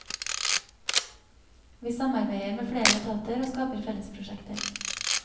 Vi samarbeider med flere etater og skaper fellesprosjekter.